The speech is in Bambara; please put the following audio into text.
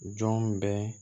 Jɔn bɛɛ